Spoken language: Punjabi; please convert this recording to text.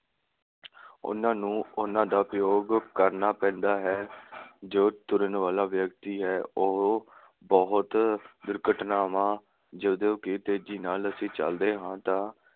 ਉਨ੍ਹਾਂ ਨੂੰ ਉਨ੍ਹਾਂ ਦਾ ਉਪਯੋਗ ਕਰਨਾ ਪੈਂਦਾ ਹੈ। ਜੋ ਤੁਰਨ ਵਾਲਾ ਵਿਅਕਤੀ ਹੈ ਉਹ ਬਹੁਤ ਦੁਰਘਟਨਾਵਾਂ ਜਦੋਂ ਕਿ ਤੇਜੀ ਨਾਲ ਅਸੀ ਚਲਦੇ ਹਾਂ ਤਾਂ